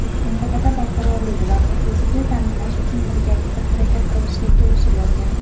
mintaqada barqarorlik va xavfsizlikni ta’minlash uchun birgalikda harakat qilishga kelishib olgan.